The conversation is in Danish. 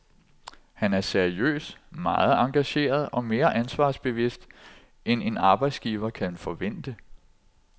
Han er seriøs, meget engageret og mere ansvarsbevidst end en arbejdsgiver kan forvente.